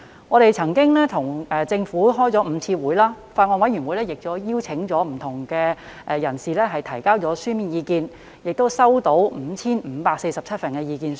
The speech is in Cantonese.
我們曾與政府當局舉行5次會議，法案委員會曾邀請各界就《條例草案》提交書面意見，共接獲 5,547 份意見書。